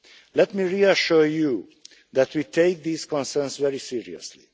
Let me reassure you that we take these concerns very seriously.